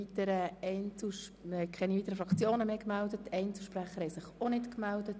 Es haben sich keine weiteren Fraktionen oder Einzelsprecher gemeldet.